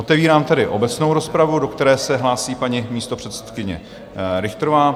Otevírám tedy obecnou rozpravu, do které se hlásí paní místopředsedkyně Richterová.